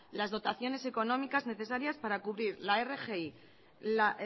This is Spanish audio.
las dotaciones económicas necesarias para cubrir la rgi la